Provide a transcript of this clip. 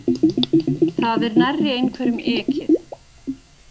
Það er nærri einhverjum ekið